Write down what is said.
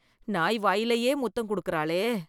நாய் வாயிலயே முத்தம் குடுக்கறாளே